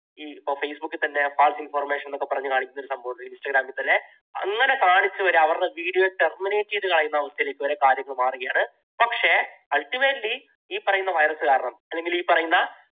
ഇപ്പോൾ facebook ൽ തന്നെ false information എന്നൊക്കെ പറഞ്ഞു കാണിക്കുന്ന ഒരു സംഭവമുണ്ട്, instagram ൽ തന്നെ. അങ്ങനെ കാണിച്ചു വരുന്ന അവരുടെ video ഒക്കെ terminate ചെയ്തു കളയുന്ന ഒരു അവസ്ഥയിലേക്ക് വരെ കാര്യങ്ങൾ മാറുകയാണ്. പക്ഷേ ultimately ഈ പറയുന്ന virus കാരണം അല്ലെങ്കിൽ ഈ പറയുന്ന